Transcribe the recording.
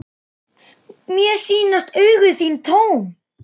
Mér sýnast augu þín tóm.